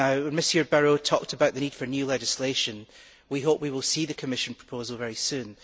Mr Barrot talked about the need for new legislation. We hope we will see the Commission proposal very soon.